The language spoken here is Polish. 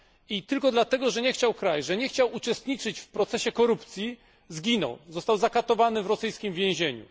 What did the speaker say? I tylko dlatego, że nie chciał kraść że nie chciał uczestniczyć w procesie korupcji zginął, został zakatowany w rosyjskim wiezieniu.